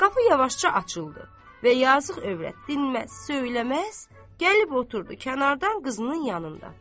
Qapı yavaşca açıldı və yazıq övrət dinməz, söyləməz, gəlib oturdu kənardan qızının yanında.